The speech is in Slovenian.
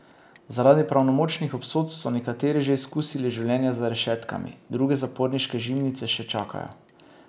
Zaradi pravnomočnih obsodb so nekateri že izkusili življenje za rešetkami, druge zaporniške žimnice še čakajo.